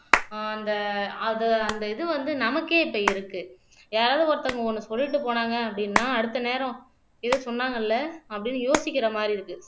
அந்த அது அந்த இது வந்து நமக்கே இப்ப இருக்கு யாராவது ஒருத்தவங்க ஒண்ணு சொல்லிட்டு போனாங்க அப்படின்னா அடுத்த நேரம் இது சொன்னாங்கல்ல அப்படின்னு யோசிக்கிற மாரி இருக்கு